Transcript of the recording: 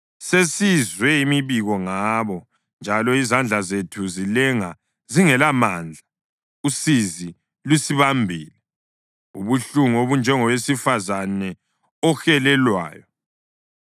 Sesizwe imibiko ngabo, njalo izandla zethu zilenga zingelamandla. Usizi lusibambile, ubuhlungu obunjengowesifazane ohelelwayo.